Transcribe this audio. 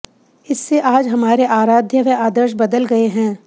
इससे आज हमारे आराध्य व आदर्श बदल गए हैं